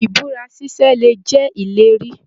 Ibúra ṣiṣe lè jẹ ìlérí.